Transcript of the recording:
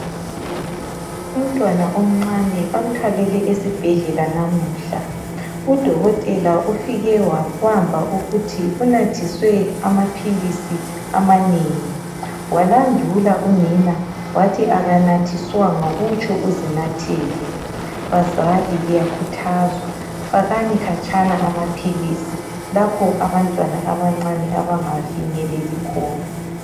Umntwana omncane bamthwalele esibhedlela namhla. Udokotela ufike wabamba ukuthi unathiswe amaphilisi amanengi. Walandula unina wathi akanathiswanga kutsho uzinathele. Bazali liyakhuthazwa, fakani khatshana amaphilisi lapho abantwana abancane abangawafinyeleli khona.